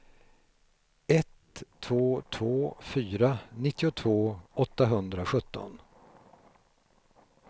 ett två två fyra nittiotvå åttahundrasjutton